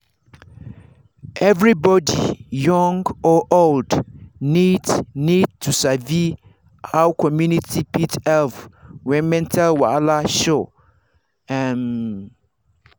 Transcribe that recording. everybody young or old need need to sabi how community fit help when mental wahala show. um